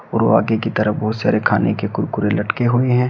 और वो आगे की तरफ बहोत सारे खाने के कुरकुरे लटके हुए हैं।